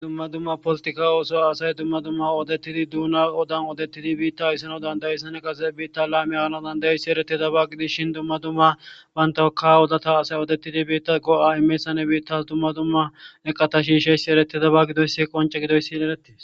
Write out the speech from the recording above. Hayssan qasseka dumma dumma polituka ooso ooththizayssa besees.